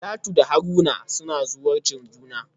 Talatu da Haruna suna zawarcin juna.